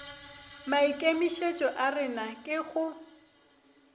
maikemišetšo a rena ke go